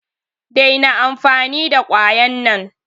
Daina amfani da kwayan nan!